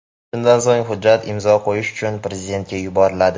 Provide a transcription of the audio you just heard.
Shundan so‘ng, hujjat imzo qo‘yish uchun prezidentga yuboriladi.